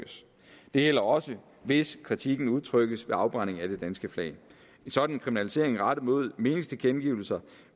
det gælder også hvis kritikken udtrykkes ved en afbrænding af det danske flag en sådan kriminalisering rettet mod meningstilkendegivelser